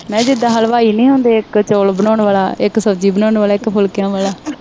ਮੈਂ ਕਿਹਾ ਜਿਦਾਂ ਹਲਵਾਈ ਨਹੀਂ ਹੁੰਦੇ, ਇੱਕ ਚੌਲ ਬਣਾਉਣ ਵਾਲਾ, ਇੱਕ ਸਬਜ਼ੀ ਬਣਾਉਣ ਵਾਲਾ, ਇੱਕ ਫੁਲਕਿਆਂ ਵਾਲਾ